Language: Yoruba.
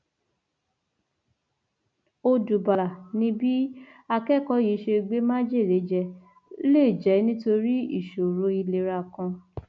ọdùbàlà ni bí akẹkọọ yìí ṣe gbé májèlé jẹ lè jẹ nítorí ìṣòro ìlera kan